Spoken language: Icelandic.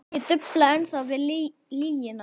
Ég dufla ennþá við lygina.